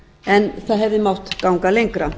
en það hefði mátt ganga lengra